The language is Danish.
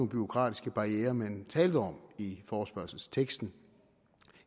bureaukratiske barrierer man talte om i forespørgselsteksten